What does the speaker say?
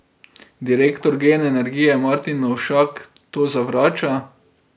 Direktor Gen energije Martin Novšak to zavrača.